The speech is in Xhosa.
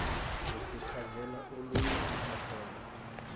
uzincazela olunye uhlaselo